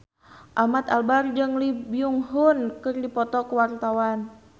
Ahmad Albar jeung Lee Byung Hun keur dipoto ku wartawan